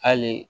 Hali